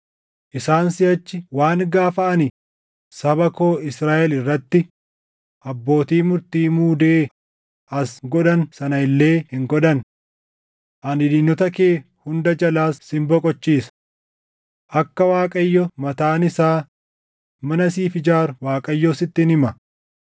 isaan siʼachi waan gaafa ani saba koo Israaʼel irratti abbootii murtii muudee as godhan sana illee hin godhan. Ani diinota kee hunda jalaas sin boqochiisa. “ ‘Akka Waaqayyo mataan isaa mana siif ijaaru Waaqayyo sittin hima;